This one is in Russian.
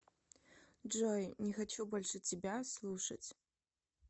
джой не хочу больше тебя слушать